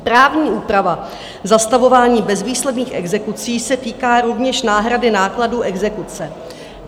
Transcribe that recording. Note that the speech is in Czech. Právní úprava zastavování bezvýsledných exekucí se týká rovněž náhrady nákladů exekuce.